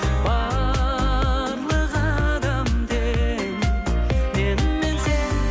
барлық адам тең менімен сен